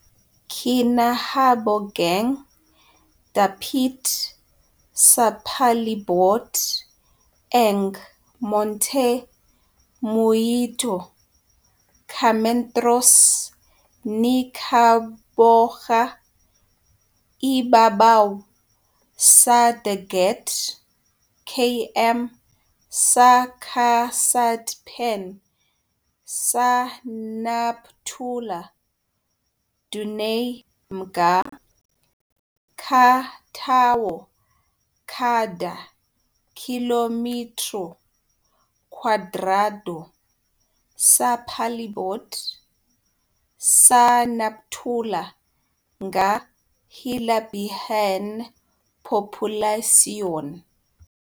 Kinahabogang dapit sa palibot ang Monte Muíto, ka metros ni kahaboga ibabaw sa dagat, km sa kasadpan sa Nampula. Dunay mga ka tawo kada kilometro kwadrado sa palibot sa Nampula nga hilabihan populasyon.